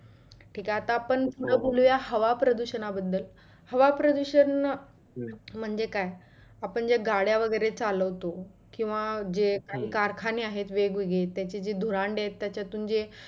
ठिक आहे आता आपण पुढं बोलुया हवा प्रदुषणा बदल, हवा प्रदुषण म्हणजे काय? आपण जे गाड्या वगैरे चालवतो किंवा जे कारखाने आहेत जे वेगवेगळे त्याचे जे धुरांडे आहेत त्याच्यातुन जे